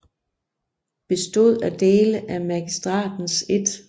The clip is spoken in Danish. Bestod af dele af Magistratens 1